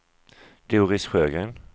Doris Sjögren